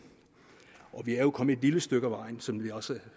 og vi er jo kommet et lille stykke af vejen som vi også